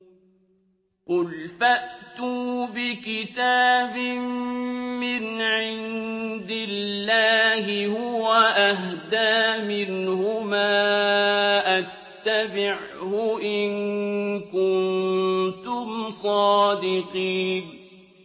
قُلْ فَأْتُوا بِكِتَابٍ مِّنْ عِندِ اللَّهِ هُوَ أَهْدَىٰ مِنْهُمَا أَتَّبِعْهُ إِن كُنتُمْ صَادِقِينَ